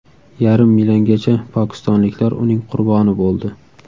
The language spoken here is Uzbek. Yarim milliongacha pokistonliklar uning qurboni bo‘ldi.